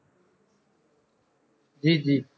ਜੀ ਜੀ